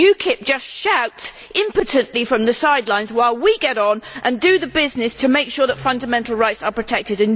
UKIP just shouts impotently from the sidelines while we get on and do the business of making sure that fundamental rights are protected.